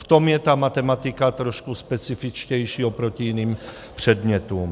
V tom je ta matematika trošku specifičtější oproti jiným předmětům.